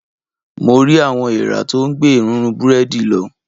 Mo rí àwọn eèrà tó ń gbé èrúnrún búrẹ́dì lọ.